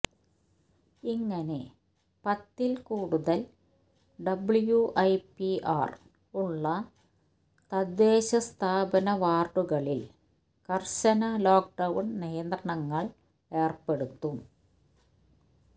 ഇങ്ങനെ പത്തില് കൂടുതല് ഡബ്ല്യുഐപിആര് ഉള്ള തദ്ദേശസ്ഥാപന വാര്ഡുകളില് കര്ശന ലോക്ക് ഡൌണ് നിയന്ത്രണങ്ങള് ഏര്പ്പെടുത്തും